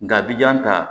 Nga bijan ta